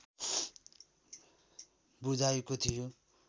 बुझाएको थियो